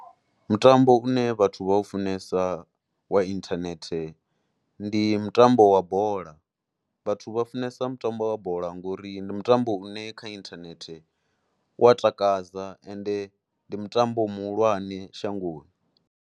Mutambo une vhathu vha funesa wa inthanethe ndi mutambo wa bola, vhathu vha funesa mutambo wa bola ngori ndi mutambo une kha inthanethe u ya takadza ende ndi mutambo muhulwane shangoni.